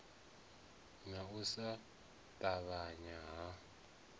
na u sa ṱavhanya ha